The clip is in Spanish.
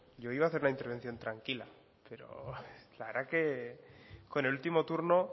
yo iba hacer la intervención tranquila pero la verdad que con el último turno